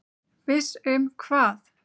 Viss um hvað?